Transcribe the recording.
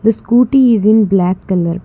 the scooty is in black colour